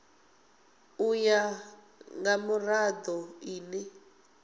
u ya nga mirado ine